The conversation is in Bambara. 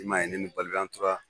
I man ye ne ni Balibi an tora